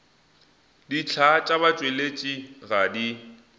dihlaa tša batšweletši ga di